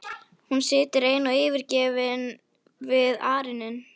Hún situr ein og yfirgefin við arininn.